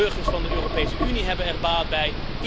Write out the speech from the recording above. De burgers van de Europese Unie hebben er baat bij.